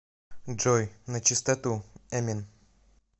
джой начистоту эмин